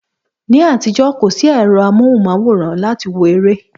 Ní àtijọ́, kò sí ẹ̀rọ amóhùnmáwòrán láti wo eré